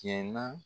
Cɛn na